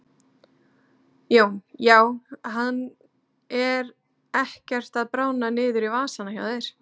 Jón: Já hann er ekkert að bráðna niður í vasana hjá þér?